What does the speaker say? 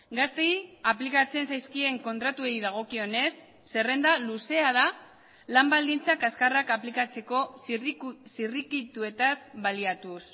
gazteei aplikatzen zaizkien kontratuei dagokionez zerrenda luzea da lan baldintzak azkarrak aplikatzeko zirrikituetaz baliatuz